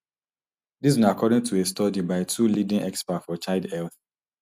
dis na according to a study by two leading experts for child health